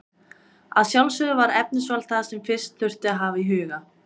Að sjálfsögðu var efnisval það sem fyrst þurfti að hafa í huga.